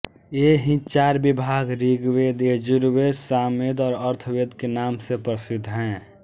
ये ही चार विभाग ऋग्वेद यजुर्वेद सामवेद और अथर्ववेद के नाम से प्रसिद्ध है